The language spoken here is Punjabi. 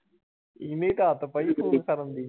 ਇਹਨੇ ਈ ਤਾਂ ਆਦਤ ਪਾਈ ਕਰਨ ਦੀ।